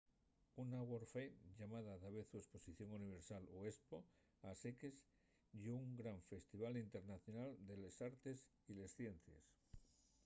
una world's fair llamada davezu esposición universal o espo a seques ye un gran festival internacional de les artes y les ciencies